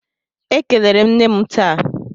Ekelere m nne m taa.